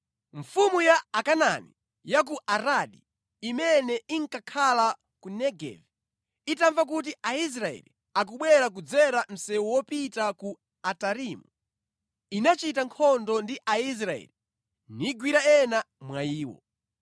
Mfumu ya Akanaani ya ku Aradi, imene inkakhala ku Negevi, itamva kuti Aisraeli akubwera kudzera msewu wopita ku Atarimu, inachita nkhondo ndi Aisraeli nigwira ena mwa iwo.